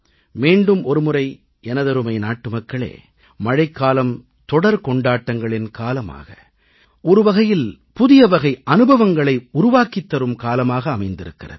மீண்டும் ஒருமுறை எனதருமை நாட்டு மக்களே மழைக்காலம் தொடர் கொண்டாட்டங்களின் காலமாக ஒரு வகையில் புதியவகை அனுபவங்களை உருவாக்கித் தரும் காலமாக அமைந்திருக்கிறது